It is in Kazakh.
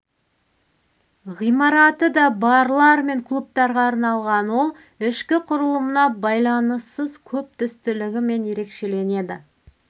ғимараты да барлар мен клубтарға арналған ол ішкі құрылымына байланыссыз көп түстілігімен ерекшеленеді